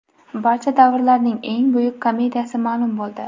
Barcha davrlarning eng buyuk komediyasi ma’lum bo‘ldi.